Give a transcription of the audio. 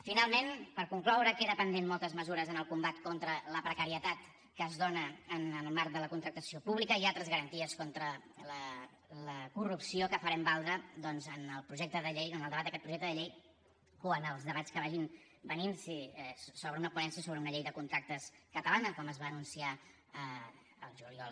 finalment per concloure queden pendents moltes mesures en el combat contra la precarietat que es dona en el marc de la contractació pública i altres garanties contra la corrupció que farem valdre doncs en el projecte de llei en el debat d’aquest projecte de llei o en els debats que vagin venint si s’obre una ponència sobre una llei de contractes catalana com es va anunciar al juliol